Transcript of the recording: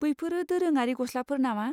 बैफोरो दोरोङारि गस्लाफोर नामा?